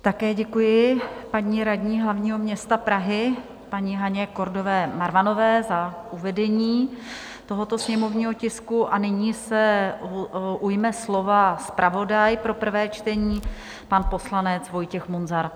Také děkuji paní radní hlavního města Prahy, paní Haně Kordové Marvanové, za uvedení tohoto sněmovního tisku a nyní se ujme slova zpravodaj pro prvé čtení, pan poslanec Vojtěch Munzar.